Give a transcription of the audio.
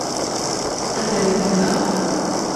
Alternativa?